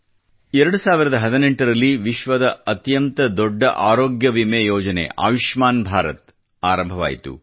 2018 ರಲ್ಲಿ ವಿಶ್ವದ ಅತ್ಯಂತ ದೊಡ್ಡ ಆರೋಗ್ಯ ವಿಮೆ ಯೋಜನೆ ಆಯುಷ್ಮಾನ್ ಭಾರತ ದ ಆರಂಭವಾಯಿತು